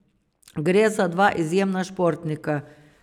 Gre za dva izjemna športnika.